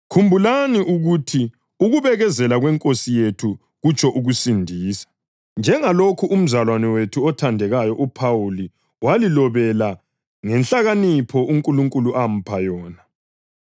Khumbulani ukuthi ukubekezela kweNkosi yethu kutsho ukusindisa, njengalokhu umzalwane wethu othandekayo uPhawuli walilobela ngenhlakanipho uNkulunkulu amupha yona.